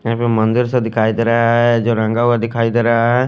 यापे मंदिर का दिखाई देरा है जो रंगा हुआ दिखाई देरा है।